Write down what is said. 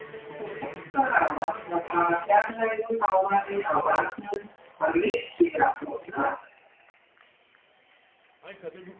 Það sem rétt áðan var bara fjarlægur hávaði á barnum var virkilega flott lag.